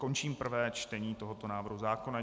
Končím prvé čtení tohoto návrhu zákona.